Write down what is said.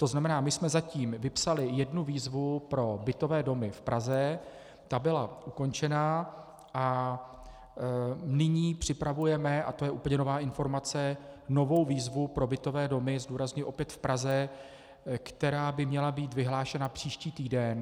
To znamená, my jsme zatím vypsali jednu výzvu pro bytové domy v Praze, ta byla ukončena, a nyní připravujeme, a to je úplně nová informace, novou výzvu pro bytové domy, zdůrazňuji, opět v Praze, která by měla být vyhlášena příští týden.